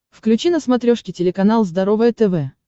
включи на смотрешке телеканал здоровое тв